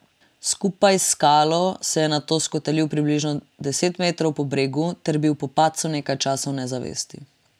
Skupaj s skalo se je nato skotalil približno deset metrov po bregu ter bil po padcu nekaj časa v nezavesti.